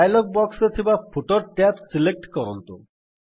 dialog box ରେ ଥିବା footer tab select କରନ୍ତୁ